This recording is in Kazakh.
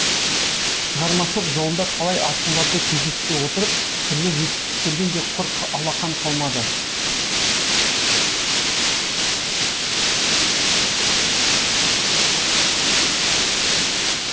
шығармашылық жолында талай асуларды кездестіре отырып түрлі жетістіктерден де құр алақан қалмады